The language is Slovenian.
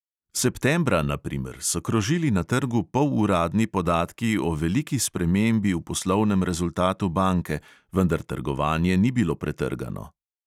Septembra, na primer, so krožili na trgu poluradni podatki o veliki spremembi v poslovnem rezultatu banke, vendar trgovanje ni bilo pretrgano.